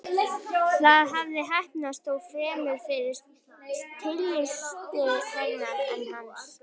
Það hafði heppnast, þó fremur fyrir tilstilli hennar en hans.